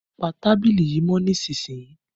Pa tábìlì yìí mọ́ nísìsiyìí!